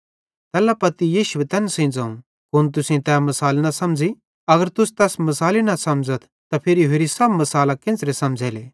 तैल्ला पत्ती यीशुए तैन सेइं ज़ोवं कुन तुसेईं तै मिसाल न समझ़ी अगर तुस तैस मिसाली न समझ़थ त फिरी होरि सब मिसालां केन्च़रां समझ़ेले